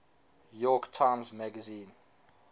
york times magazine